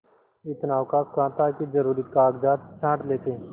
इतना अवकाश कहाँ था कि जरुरी कागजात छॉँट लेते